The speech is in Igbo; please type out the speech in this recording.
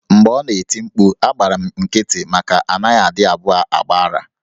Mgbe ọ nọ na-eti mkpu, agbara m nkịtị maka na a naghị adị abụọ agba ara.